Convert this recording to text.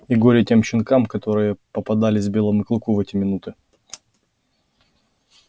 и горе тем щенкам которые попадались белому клыку в эти минуты